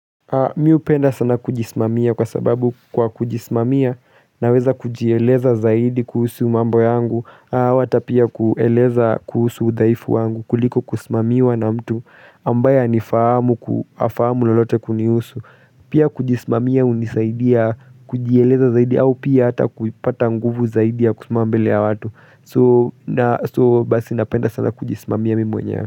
Mimi hupenda sana kujisimamia kwa sababu kwa kujisimamia naweza kujieleza zaidi kuhusu mambo yangu napata pia kueleza kuhusu udhaifu wangu kuliko kusimamiwa na mtu ambaye hanifahamu hafahamu lolote kunihusu pia kujisimamia hunisaidia kujieleza zaidi au pia hata kupata nguvu zaidi ya kusimama mbele ya watu. So basi napenda sana kujisimamia mimi mwenyewe.